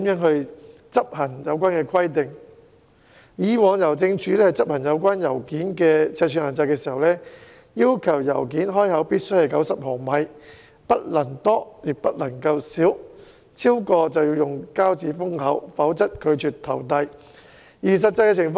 香港郵政以往執行有關信件尺寸的限制時，要求信件開口必須為90毫米，不能多亦不能少，超過便要以膠紙封口，否則拒絕投遞。